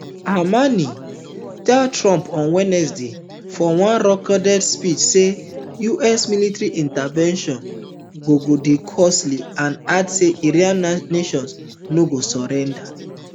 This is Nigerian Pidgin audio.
khamenei tell trump on wednesday for one recorded speech say any us military intervention go go dey costly and add say iranian nation no go surrender